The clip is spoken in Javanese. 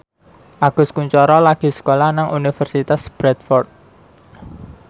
Agus Kuncoro lagi sekolah nang Universitas Bradford